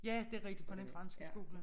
Ja det rigtig på Den Franske Skole